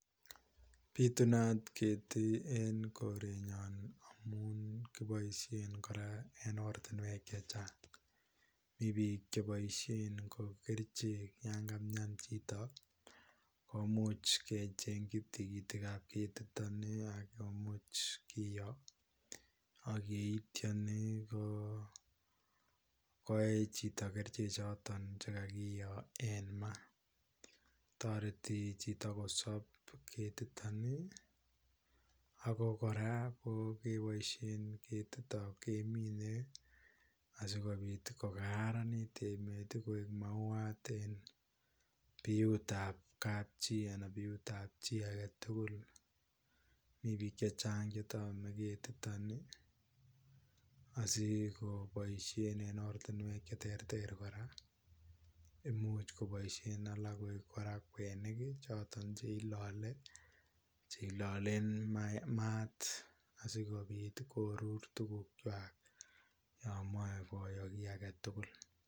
Pitunata ketik en korenyon amun kiboishen Koraa en ortinwek che Chang, Mii bik cheboishen ko kerichek yon kaumian chito komuche kechenki tikitik ab ketiton nii ak komuch kiyoo ak ak yeityo koo koye chito kerichek chuton chekakiyo en maa, toreti chito kosob ketiton nii ako Koraa ko keboishen ketiton kemine asikopit ko kararanit emet tii koik mauwat en biut tab kapchii anan biut tab chii agetukul. Mii bik che Chang che tome ketiton nii asikeboishen en ortinwek cheterter Koraa imuch koboishen alak koik Koraa kweniki choton che ilole , cheilolen maat asikopit korur tukuk kwak yomoi koyo kii agetukul.